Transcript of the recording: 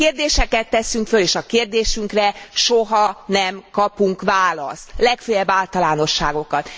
Kérdéseket teszünk föl és a kérdésünkre soha nem kapunk választ, legföljebb általánosságokat.